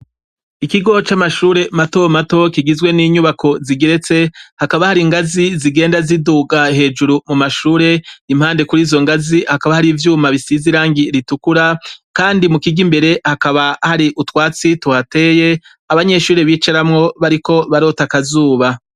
Ikigo c'amashure mato mato kigizwe n'inyubako zigeretse, hakaba hari ingazi zigenda ziduga hejuru mu mashure . Impande kur'izo ngazi, hakaba har' icuma gisize irangi ritukura. Kandi mu kigo imbere, hakaba hari utwatsi tuhateye, abanyeshure bicaramwo bariko barota akazuba.